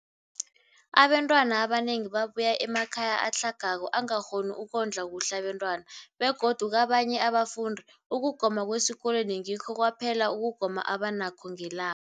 Abantwana abanengi babuya emakhaya atlhagako angakghoni ukondla kuhle abentwana, begodu kabanye abafundi, ukugoma kwesikolweni ngikho kwaphela ukugoma abanakho ngela